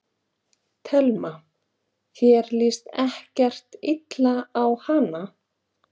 Telma: Þér líst ekkert illa á hana?